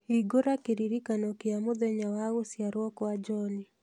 hingũra kĩririkano kĩa mũthenya wa gũciarwo kwa John